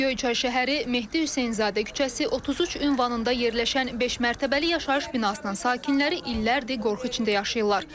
Göyçay şəhəri, Mehdi Hüseynzadə küçəsi, 33 ünvanında yerləşən beşmərtəbəli yaşayış binasının sakinləri illərdir qorxu içində yaşayırlar.